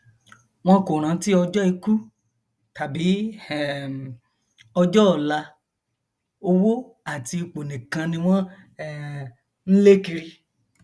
wọn kò rántí ọjọ ikú tàbí um ọjọ ọla owó àti ipò nìkan ni wọn um ń lé kiri